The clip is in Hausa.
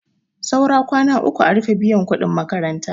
Saura kwana uku a rufe biyan kuɗin makaranta.